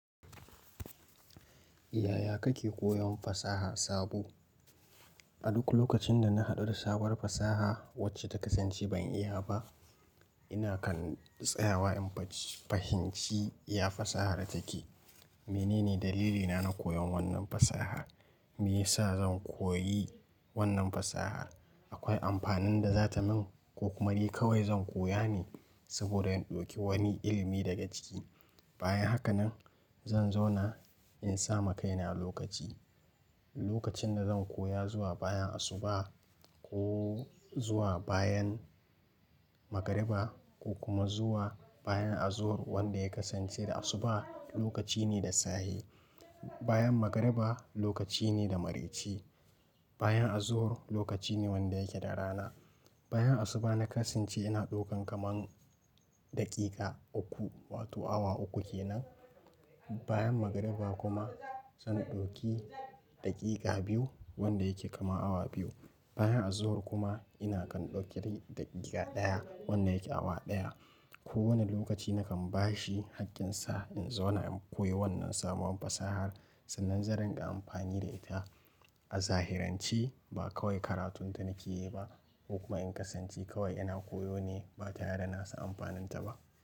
Yaya kake koyon fasaha sabo? A duk lokacin da na haɗu da sabuwar fasaha wacce ta kasance ban iya ba, ina kan tsayawa in fahimci ya fasahar take. Menene dalilina na koyon wannan fasaha? Me yasa zan koyi wannan fasaha? Akwai amfanin da za ta min ko kuma de kawai zan koya ne saboda in ɗauki wani ilimi daga ciki? Bayan haka nan zan zauna in sa ma kaina lokaci. Lokacin da zan koya zuwa bayan asuba ko zuwa bayan magariba ko kuma zuwa bayan azuhur wanda ya kasance da asuba lokaci ne da sahe. Bayan magariba lokaci ne da mareci. Bayan azuhur lokaci ne wanda yake da rana. Bayan asuba na kasance ina ɗaukan kaman daƙiƙa uku wato awa uku kenan. Bayan magariba kuma zan ɗauki daƙiƙa biyu wanda yake kama awa biyu. Bayan azuhur kuma ina kan ɗaukar daƙiƙa ɗaya wanda yake awa ɗaya. Ko wane lokaci na kan bashi haƙƙinsa in zauna in koyi wannan sabuwar fasahar sannan zan rinƙa amfani da ita. A zahirance ba kawai karatun da nake yi ba ko kuma in kasance kawai ina koyo ne ba ta tare da nasan amfaninta ba.